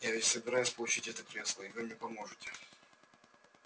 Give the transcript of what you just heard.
я ведь собираюсь получить это кресло и вы мне поможете